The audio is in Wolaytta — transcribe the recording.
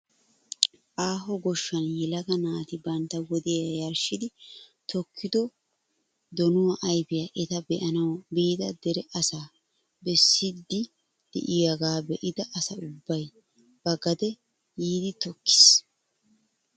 Aaho gooshshan yelaga naati bantta wodiyaa yarshshidi tokkido donuwaa ayfiyaa eta be'anawu biida dere asaa bessiidi de'iyooga be'ida asa ubbay ba gade yiidi tokkiis!